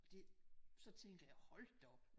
Det så tænker jeg hold da op